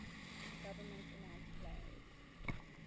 government announced plans